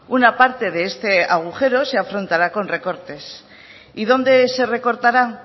una parte de este agujero se afrontará con recortes y dónde se recortará